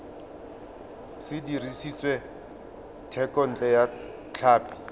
se dirisitswe thekontle ya tlhapi